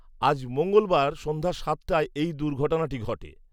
আজ মঙ্গলবার সন্ধ্যা সাতটায় এই দুর্ঘটনাটি ঘটে